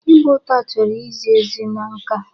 Ịgba ụta chọrọ izi ezi na nka.